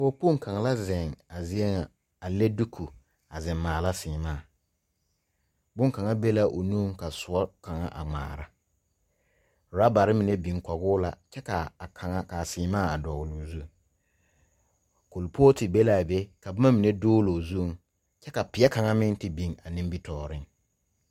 Pͻge kpoŋ kaŋa la a zie ŋa a leŋ diku a zeŋ maala seԑmaa. Boŋkaŋa be la o nuiŋ ka sõͻ kaŋa a ŋmaara. Oorabare mine biŋ kͻge o la kyԑ ka kaŋa ka a seԑmaa a dͻgele o zu. Kuripootu be la a be ka boma mine dooloo zuiŋ kyԑ ka peԑ kaŋa meŋ te biŋ a nimitͻͻreŋ.